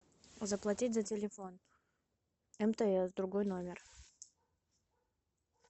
заплатить за телефон мтс другой номер